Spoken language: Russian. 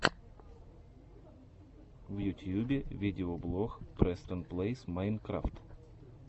в ютьюбе видеоблог престон плэйс майнкрафт